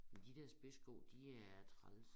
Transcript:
De dér spidssko de er træls